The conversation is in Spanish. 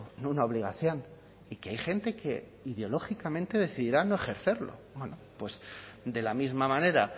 no una obligación y que hay gente que ideológicamente decidirá no ejercerlo bueno pues de la misma manera